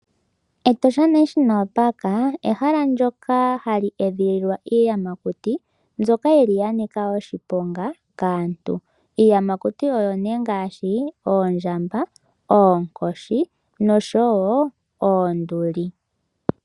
Etosha National Park ehala ndyoka hali edhililwa iiyamakuti mbyoka yili yanika oshiponga kaantu . Iiyamakuti oyo ngaashi oondjamba, oonkoshi noshowo oonduli.